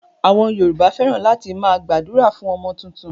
Àwọn Yorùbá fẹ́ràn láti máa gbàdúrà fún ọmọ tuntun.